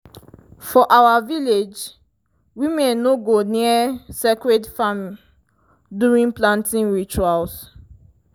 for our village women no go near sacred farm during planting rituals.